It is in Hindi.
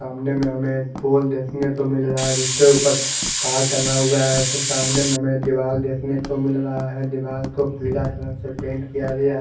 सामने में हमे एक पूल देख ने को मिल रहा है जिस के ऊपर तार टंगा हुआ है उसके सामने हमे दीवाल देखने को मिल रहा है दीवाल को पीला कलर से पेंट किया गया है।